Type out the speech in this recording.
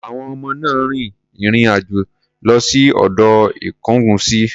Àwọn ọmọ náà rin ìrìn-àjò lọ sí odò Ikongunsi.